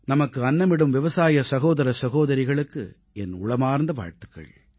நமக்கு அன்னமிடும் விவசாய சகோதர சகோதரிகளுக்கு என் உளமார்ந்த நல்வாழ்த்துக்கள்